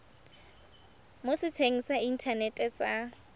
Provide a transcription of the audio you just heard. mo setsheng sa inthanete sa